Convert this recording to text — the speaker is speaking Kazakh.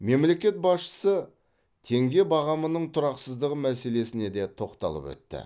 мемлекет басшысы теңге бағамының тұрақсыздығы мәселесіне де тоқталып өтті